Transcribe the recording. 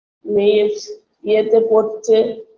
মেয়ের যে ইয়েতে পড়ছে